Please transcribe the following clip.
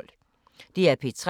DR P3